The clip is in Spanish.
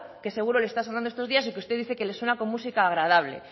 que seguro le está sonando estos días y que usted dice que le suela como música agradable